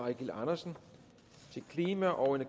eigil andersen til klima og